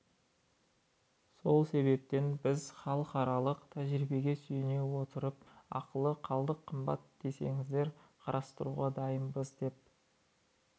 сол себептен біз халықаралық тәжірибеге сүйене отырып ақылы қалдық қымбат десеңіздер қарастыруға дайынбыз деп